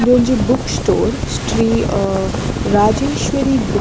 ಉಂದೊಂಜಿ book store Shri ಅಹ್ Rajeshwari book --